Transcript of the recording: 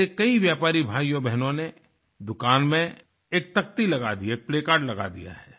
मेरे कई व्यापारी भाइयोंबहनों ने दुकान में एक तख्ती लगा दी है एक प्लेकार्ड लगा दिया है